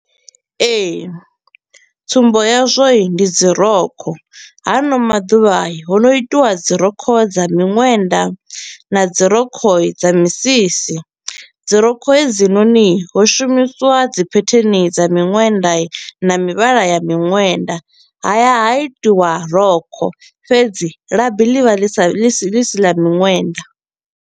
Ee, tsumbo yazwo i ndi dzirokho haano maḓuvha i ho no itiwa dzirokho dza miṅwenda na dzirokho dza misisi. Dzirokho hedzinoni i ho shumisiwa dzi phetheni dza miṅwenda na mivhala ya miṅwenda, ha ya ha itiwa rokho, fhedzi labi ḽivha ḽi sa ḽi ḽi si ḽa miṅwenda.